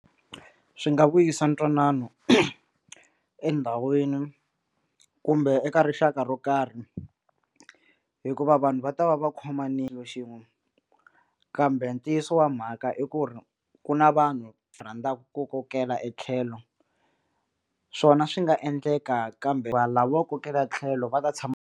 Swi nga vuyisa ntwanano endhawini kumbe eka rixaka ro karhi hikuva vanhu va ta va va khomanile xin'we kambe ntiyiso wa mhaka i ku ri ku na vanhu rhandzaka ku kokela etlhelo swona swi nga endleka kambe valavo kokela tlhelo va ta tshama.